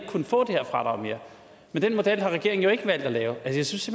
kunne få det her fradrag men den model har regeringen jo ikke valgt at lave jeg synes